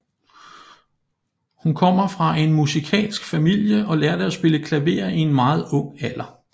Hun kommer fra en musikalsk familie og lærte at spille klaver i en meget ung alder